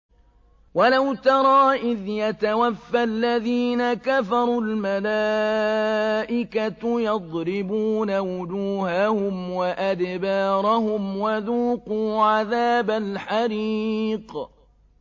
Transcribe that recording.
وَلَوْ تَرَىٰ إِذْ يَتَوَفَّى الَّذِينَ كَفَرُوا ۙ الْمَلَائِكَةُ يَضْرِبُونَ وُجُوهَهُمْ وَأَدْبَارَهُمْ وَذُوقُوا عَذَابَ الْحَرِيقِ